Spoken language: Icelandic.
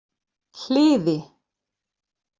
Hliði